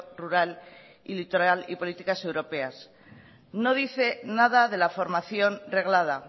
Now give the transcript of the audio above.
rural y litoral y políticas europeas no dice nada de la formación reglada